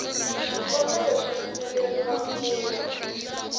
xikombelo xo pfumeleriwa ku ya